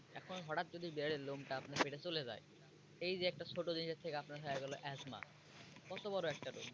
এখন হঠাত যদি বিড়ালের লোম টা আপনার পেটে চলে যায় এই যে একটা ছোট জিনিসের থেকে আপনার হয়ে গেলো asthma কত বড় একটা রোগ।